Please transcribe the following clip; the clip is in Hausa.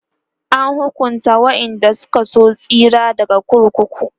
an hukunta waƴanda Suka so tsira daga kurkuku